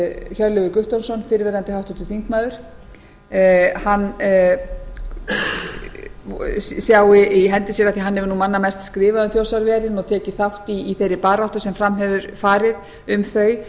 hjörleifur guttormsson fyrrverandi háttvirtur þingmaður sjái í hendi sér af því að hann hefur manna mest skrifað um þjórsárverin og tekið þátt í þeirri baráttu sem fram hefur farið um þau